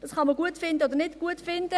Dies kann man gut oder nicht gut finden.